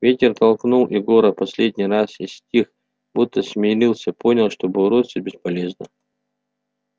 ветер толкнул егора последний раз и стих будто смирился понял что бороться бесполезно